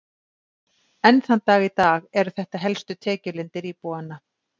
enn þann dag í dag eru þetta helstu tekjulindir íbúanna